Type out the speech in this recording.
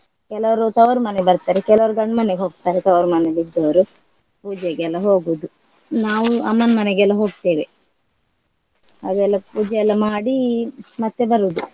ಕೆಲವರು ತವರು ಮನೆ ಬರ್ತಾರೆ ಕೆಲವರು ಗಂಡ್ ಮನೆಗ್ ಹೋಗ್ತಾರೆ ತವರು ಮನೆಯಲ್ಲಿದ್ದವರು ಪೂಜೆಗೆ ಎಲ್ಲ ಹೋಗುದು. ನಾವು ಅಮ್ಮನ್ ಮನೆಗೆಲ್ಲ ಹೋಗ್ತೇವೆ. ಅವರೆಲ್ಲ ಪೂಜೆ ಎಲ್ಲ ಮಾಡಿ ಮತ್ತೆ ಬರುದು.